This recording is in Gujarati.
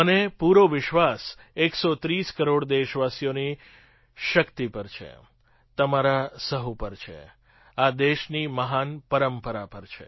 મને પૂરો વિશ્વાસ ૧૩૦ કરોડ દેશવાસીઓની શક્તિ પર છે તમારા સહુ પર છે આ દેશની મહાન પરંપરા પર છે